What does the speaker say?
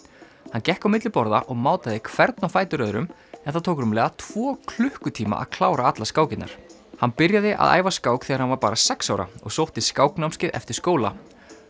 hann gekk á milli borða og mátaði hvern á fætur öðrum en það tók rúmlega tvo klukkutíma að klára allar skákirnar hann byrjaði að æfa skák þegar hann var bara sex ára og sótti skáknámskeið eftir skóla